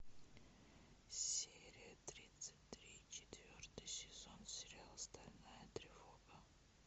серия тридцать три четвертый сезон сериал стальная тревога